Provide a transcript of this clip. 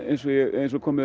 eins og komið